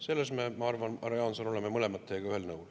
Selles me, ma arvan, härra Jaanson, oleme teiega mõlemad ühel nõul.